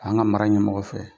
An ka mara ɲɛmɔgɔ fɛ,